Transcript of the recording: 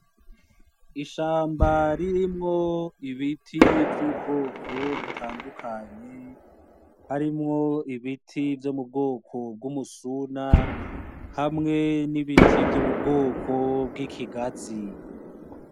Ishamba ririmwo ibiti vy'ubwoko butandukanye , harimwo ibiti vyo m'ubwoko bw'umusuna hamwe n'ibiti vyo m'ubwoko bw'ikigazi.